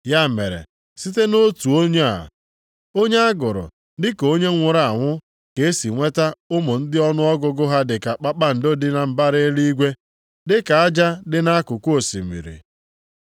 Ya mere site nʼotu onye a, onye a gụrụ dị ka onye nwụrụ anwụ ka e si nweta ụmụ ndị ọnụọgụgụ ha dị ka kpakpando dị na mbara eluigwe, dị ka aja dị nʼakụkụ osimiri.